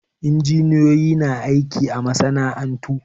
Injiniyoyi na aiki a masana'antu